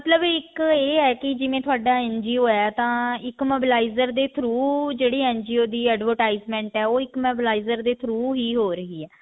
ਮਤਲਬ ਇੱਕ ਇਹ ਹੈ ਕੀ ਜਿਵੇਂ ਤੁਹਾਡਾ NGO ਹੈ ਤਾਂ ਇੱਕ mobilizer ਦੇ through ਜਿਹੜੀ NGO ਦੀ advertisement ਹੈ ਉਹ ਇੱਕ mobilizer ਦੇ through ਹੀ ਹੋ ਰਹੀ ਹੈ